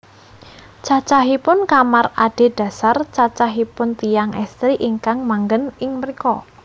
Cacahipun kamar adhedhasar cacahipun tiyang èstri ingkang manggen ing mrika